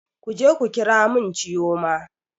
Kuje ku ƙira mun chioma!